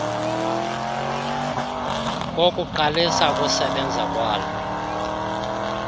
kokuqalisa ukusebenza kwalo